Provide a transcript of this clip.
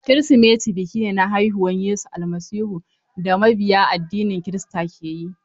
Kirsimeti biki ne na haihuwar Yesu Almasihu da mabiya addinin kirista ke yi.